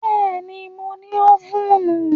Bẹ́ẹ̀ni, mo ní ófùnù